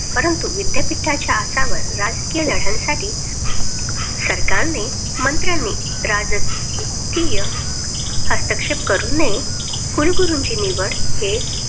परंतु विद्यापीठाच्या आसावर राजकीय लढ्यासाठी सरकारनी, मंत्रांनी राजकीय हस्तक्षेप करू नये. कुलगुरुची निवड हे